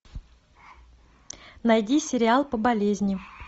найди сериал по болезни